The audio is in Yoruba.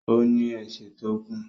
Ó ní ẹsẹ̀ tó gùn